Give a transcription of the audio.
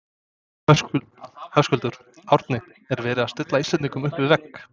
Höskuldur: Árni er verið að stilla Íslendingum upp við vegg?